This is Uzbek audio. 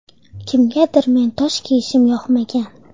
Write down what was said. Kimgadir men toj kiyishim yoqmagan.